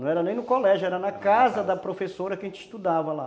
Não era nem no colégio, era na casa da professora que a gente estudava lá.